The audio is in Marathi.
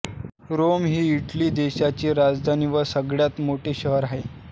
रोम ही इटली देशाची राजधानी व सगळ्यात मोठे शहर आहे